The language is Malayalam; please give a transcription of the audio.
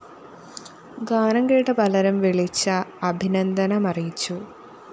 ഗാനം കേട്ട പലരും വിളിച്ച് അഭിനന്ദനമറിയിച്ചു